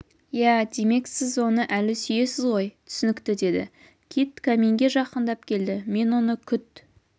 иә демек сіз оны әлі сүйесіз ғой түсінікті деді кит каминге жақындап келді мен оны күт